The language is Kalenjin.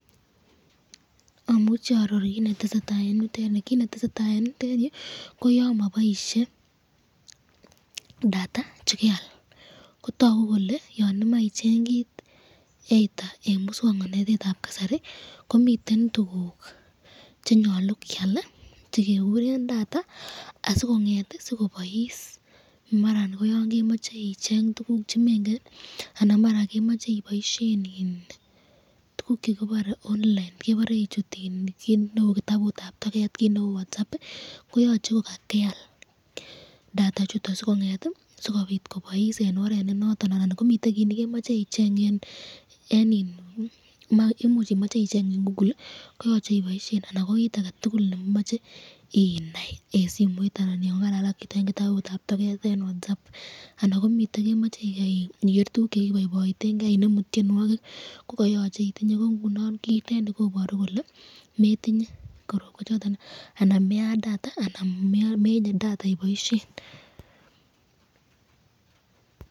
Amuche aaror kit netesetai eng yu ,kit netesetai eng yutenyu koyan maboisye data yan kakyal Kotaku kole Mai icheng kit either eng muswoknotetab kasari komiten tukuk chenyalu kyal nekikuren data asikonget ,sikobais maran yon kemache icheng tukuk chemengen anan komache keboisyen eng tukuk chekibare online ,ichuten kit neu kitabutab tocket anan ko Whatsapp koyache kokeal [ cs]data chuton sikonget kobais eng oret NE noton anan komiten kit nekemache .